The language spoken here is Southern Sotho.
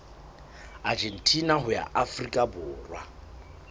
argentina ho ya afrika borwa